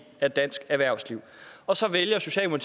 af dansk erhvervsliv og så vælger